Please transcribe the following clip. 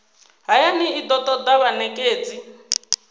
hayani i do toda vhanekedzi